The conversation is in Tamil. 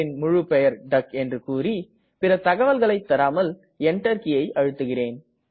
முழுப்பெயர் டக் என்று கூறி பிற தகவல்களை தராமல் Enter கீயை அழுத்துகிறேன்